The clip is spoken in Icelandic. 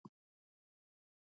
Sú hefð